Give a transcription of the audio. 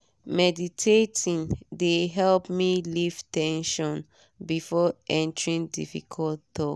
meditating de help me leave ten sion before entering difficult talk.